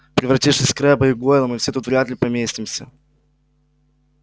превратившись в скрэбба и гойла мы все тут вряд ли поместимся